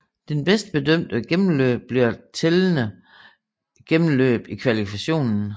Det bedste bedømte gennemløb bliver tællende gennemløb i kvalifikationen